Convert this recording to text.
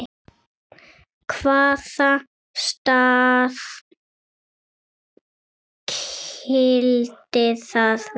Hvaða staða skyldi það vera?